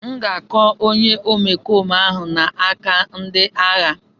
M ga-akọ onye omekome ahụ n'aka ndị agha.